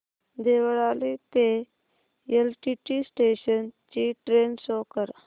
देवळाली ते LTT station ची train show कर